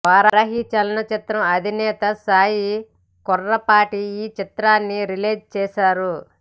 వారాహి చలనచిత్రం అధినేత సాయి కొర్రపాటి ఈ చిత్రాన్ని రిలీజ్ చేశారు